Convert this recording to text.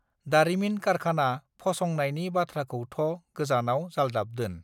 दारिमिन कारखाना फसंनायनि बाथ्राखौथ गोजानाव जालदाब दोन